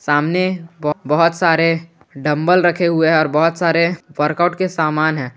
सामने बहोत सारे डंबल रखे हुए हैं और बहोत सारे वर्कआउट के समान है।